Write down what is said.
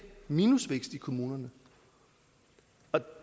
minusvækst i kommunerne man